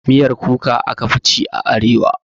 Miyar Kuka aka fi ci a arewa